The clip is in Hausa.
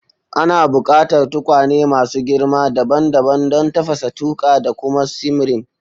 Ana buƙatar tukwane masu girma dabam dabam don tafasa, tuƙa, da kuma simmering.